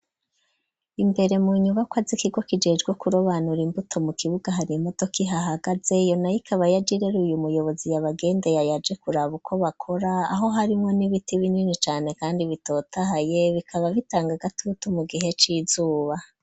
Imbere, mu nyubakwa z'ikigo, kijejwe kurobanura imbuto, mu kibuga hari imodoka, ihahagaze, iyo nayo, ikaba yaje ireruye umuyobozi, yabagendeye, yaje kuraba, uko bakora; aho harimwo n'ibiti binini cane, kandi bitotahaye; bikaba bitanga agatutu, mu gihe c'izuba.